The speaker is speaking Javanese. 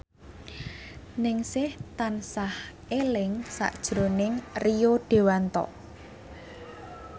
Ningsih tansah eling sakjroning Rio Dewanto